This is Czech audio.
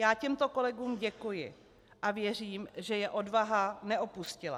Já těmto kolegům děkuji a věřím, že je odvaha neopustila.